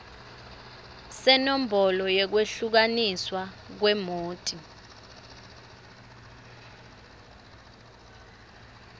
senombolo yekwehlukaniswa kwemoti